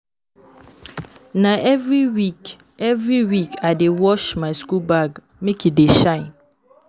Na every week every week I dey wash my school bag make e dey shine.